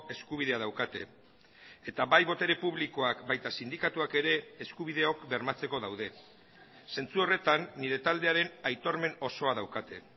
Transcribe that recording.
eskubidea daukate eta bai botere publikoak baita sindikatuak ere eskubideok bermatzeko daude zentzu horretan nire taldearen aitormen osoa daukate